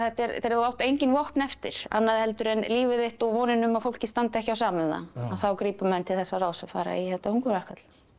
þegar þú átt engin vopn eftir annað en líf þitt og vonina um að fólki standi ekki á sama um það að þá gripu menn til þessa ráðs og fara í þetta hungurverkfall